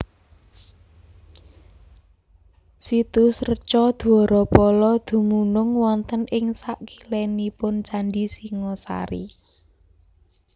Situs Reca Dwarapala dumunung wonten ing sakilénipun Candhi Singhasari